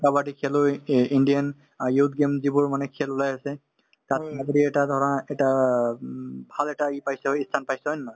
কাবাডী খেলুৱৈ ই ইণ্ডিয়ান অ youth game যিবোৰ মানে খেল ওলাই আছে তাত মই যদি এটা ধৰা এটা উম ভাল এটা পাইছে হয় ই স্থান পাইছে হয় নে নহয়